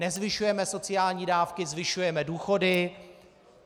Nezvyšujeme sociální dávky, zvyšujeme důchody.